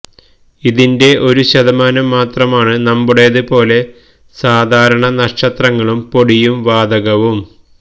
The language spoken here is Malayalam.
ഇതിന്റെ ഒരു ശതമാനം മാത്രമാണ് നമ്മുടേത് പോലെ സാധാരണ നക്ഷത്രങ്ങളും പൊടിയും വാതകവും